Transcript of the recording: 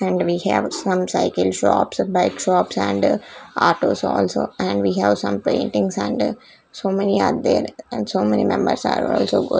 and we have some cycle shops bike shops and autos also and we have some paintings and so many are there and so many members are also go --